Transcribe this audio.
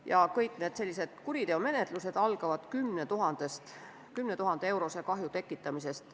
Ja kõik sellised kuriteomenetlused algavad vähemalt 10 000 euro suuruse kahju tekitamisest.